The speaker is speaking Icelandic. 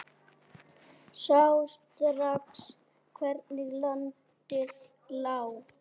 Sá strax hvernig landið lá.